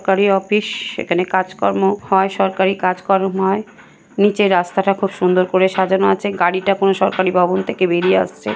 সরকারি অফিস এখানে কাজকর্ম হয় সরকারি কাজকর্ম হয়। নিচে রাস্তাটা খুব সুন্দর করে সাজানো আছে গাড়িটা কোন সরকারি ভবন থেকে বেরিয়ে আসছে।